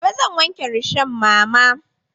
Gobe zan wanke rishon mama.